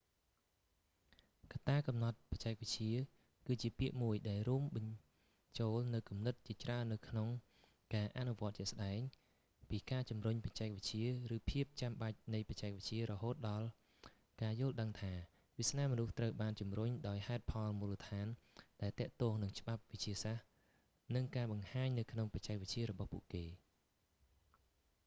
កត្ដាកំណត់បច្ចេកវិទ្យាគឺជាពាក្យមួយដែលរួមបញ្ចូលនូវគំនិតជាច្រើននៅក្នុងការអនុវត្តជាក់ស្តែង ពីការជំរុញបច្ចេកវិទ្យាឬភាពចាំបាច់នៃបច្ចេកវិទ្យារហូតដល់ការយល់ដឹងថា វាសនាមនុស្សត្រូវបានជំរុញដោយហេតុផលមូលដ្ឋានដែលទាក់ទងនឹងច្បាប់វិទ្យាសាស្ត្រនិងការបង្ហាញនៅក្នុងបច្ចេកវិទ្យារបស់ពួកគេ